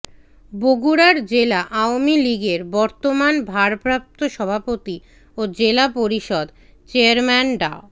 বগুড়ার জেলা আওয়ামী লীগের বর্তমান ভারপ্রাপ্ত সভাপতি ও জেলা পরিষদ চেয়ারম্যান ডা